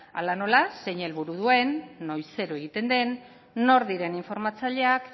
hala nola zein helburu duen noizero egiten den nortzuk diren informatzaileak